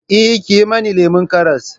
Eh, ki yi mana lemon karas